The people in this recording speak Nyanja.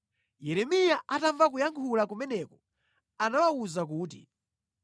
Yeremiya atamva kuyankha kumeneku anawawuza kuti,